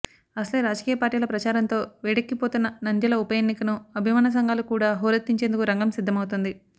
అసలే రాజకీయ పార్టీల ప్రచారంతో వేడిక్కిపోతున్న నంద్యల ఉపఎన్నికను అభిమాన సంఘాలు కూడా హోరెత్తించేందుకు రంగం సిద్దమవుతోంది